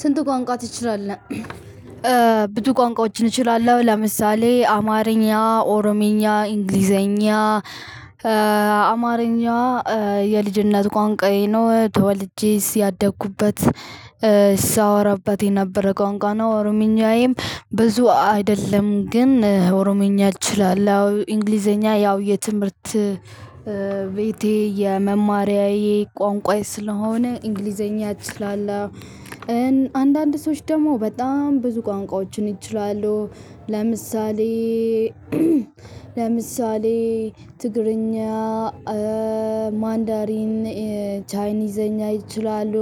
ስንት ቋንቋ ትችላለህ? ብዙ ቋንቋዎችን እችላለው ለምሳሌ አማርኛ ኦሮምኛ እንግሊዘኛ አማርኛ የልጅነት ቋንቋዬ ነው። ተወልጄ ያደግኩበት ስሰወራበት የነበረ ቋንቋናው አሮምኛዬም ብዙ አይደለም ግን ኦሮምኛ እችላለው። እንግሊዘኛ ያው የትምህርት ቤቴ የመማሪያዬ ቋንቋዬ ስለሆነ እንግሊዘኛ እችላለው። ሰዎች ደግሞ በጣም ብዙ ቋንቋዎችን ይችላሉ ለምሳሌ ትግርኛ ማንዳሪን ቻይኒዝኛ ይችላሉ።